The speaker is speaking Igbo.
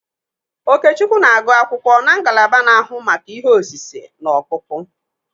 Okechukwu na-agụ akwụkwọ na ngalaba na-ahụ maka ihe osise na ọkpụkpụ.